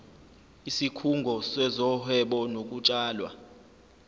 isikhungo sezohwebo nokutshalwa